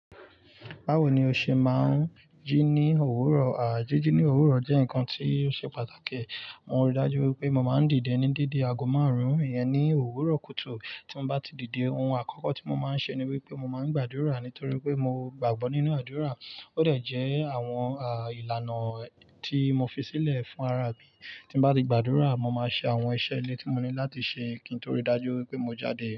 Báwo ni o ṣe máa ń jí ní òwúrọ̀? Àá, jíjí ní òwúrọ̀ jẹ́ nǹkan tí ó ṣe pàtàkì. Mo rí i dájú wípé mo máa ń dìde ní dédé aago márùn-ún, ìyẹn ni òwúrọ̀ kùtù. Tí mo bá ti dìde, ohun àkọ́kọ́ tí mo máa ń ṣe ni wípé mo máa ń gbàdúrà nítorí pé mo gbàgbọ́ nínú àdúrà. Ó dà jẹ àwọn, àá, ìlànà tí mo fi sílẹ̀ fún ara mi. Tí mo bá ti gbàdúrà, mo máa ṣe àwọn iṣẹ́ ilé tí mo ní láti ṣe kí n tó rí i dájú wípé mo jáde.